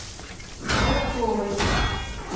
бобковой